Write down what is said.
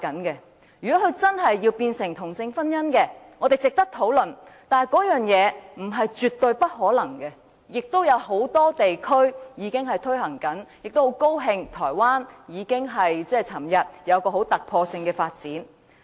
如果真的有同性婚姻，我們值得討論，但並不等於絕無可能，因為很多地區已正在推行，我亦很高興台灣昨天出現突破性的發展。